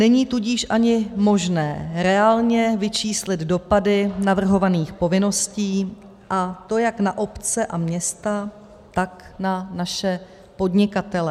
Není tudíž ani možné reálně vyčíslit dopady navrhovaných povinností, a to jak na obce a města, tak na naše podnikatele.